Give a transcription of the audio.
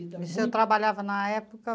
Então. Você trabalhava na época?